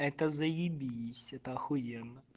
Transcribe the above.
это заебись это ахуенно